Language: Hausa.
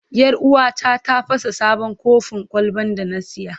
Yar uwata ta fasa sabon kofin kwalban da na saya.